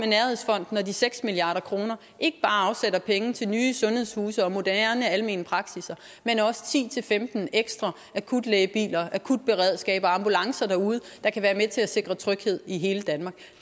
nærhedsfonden og de seks milliard kroner ikke bare afsætter penge til nye sundhedshuse og moderne almene praksisser men også til ti til femten ekstra akutlægebiler akutberedskab og ambulancer derude der kan være med til at sikre tryghed i hele danmark